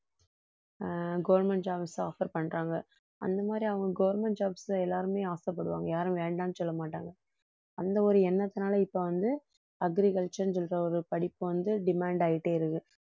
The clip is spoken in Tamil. ஆஹ் government jobs offer பண்றாங்க அந்த மாதிரி அவங்க government jobs ல எல்லாருமே ஆசைப்படுவாங்க யாரும் வேண்டான்னு சொல்லமாட்டாங்க அந்த ஒரு எண்ணத்துனால இப்ப வந்து agriculture ன்னு சொல்ற ஒரு படிப்பு வந்து demand ஆயிட்டே இருக்கு